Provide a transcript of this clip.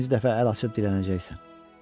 İkinci dəfə əl açıb dilənəcəksən.